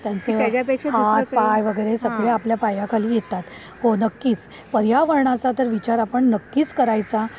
त्यांचे हात पाय वगैरे हे सगळं आपल्या पायाखाली येतात. हो नक्कीच. पर्यावरणाचा तर विचार आपण नक्कीच करायचा.